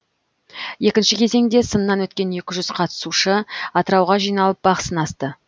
екінші кезеңде сыннан өткен екі жүз қатысушы атырауға жиналып бақ сынасты